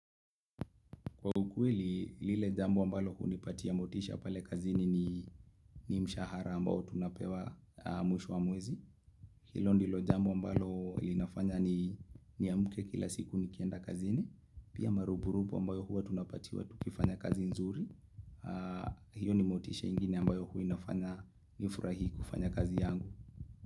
Kwa ukweli, lile jambo ambalo hunipatia motisha pale kazini ni mshahara ambao tunapewa mwisho wa mwezi. Hilo ndilo jambo ambalo linafanya ni niamke kila siku nikienda kazini. Pia marupurupu ambayo huwa tunapatiwa tukifanya kazi nzuri. Hiyo ni motisha ingine ambayo huwa inafanya nifurahi kufanya kazi yangu.